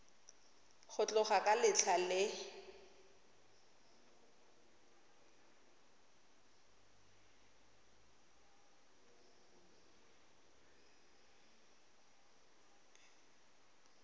go tloga ka letlha le